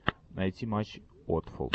найти матч уотфорд